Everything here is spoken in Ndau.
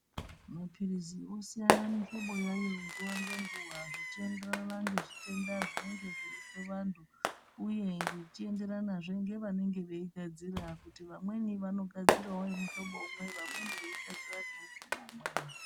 Maphirizi osiyana mihloboyayo nguva ngenguva zvi chienderana ngezvitenda zvinenge zveizwavanthu uye zvi chienderana zve ngevanenge echigadzira kuti vamweni vano gadzira mihloba imwe amweni eigadzira mihlobo imweni.